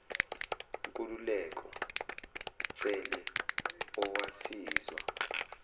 nkululeko cele owasizwa